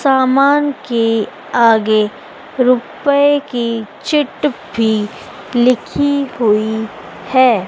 सामान के आगे रुपए की चिट भी लिखी हुई है।